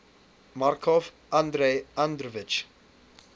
markov andrei andreevich